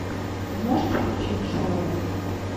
можешь включить шоу